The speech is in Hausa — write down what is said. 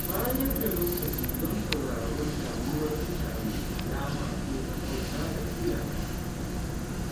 Bayar da lokaci don sauraron damuwar mutane alama ce ta ƙauna da kulawa.